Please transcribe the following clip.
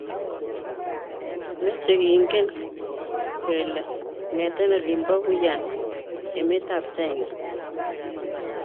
meche kengen kole kongete olin bo Wuhan emetab china